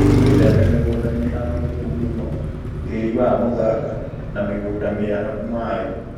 Wĩtheme mĩgũnda mĩharũrũku mũno, tĩri wa mũthanga, na mĩgũnda mĩarahu maĩĩ